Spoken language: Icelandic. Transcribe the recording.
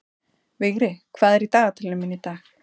Vigri, hvað er í dagatalinu mínu í dag?